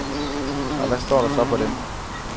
Og hvad står der så på dem?